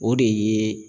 O de ye